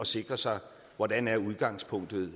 sikre sig hvordan udgangspunktet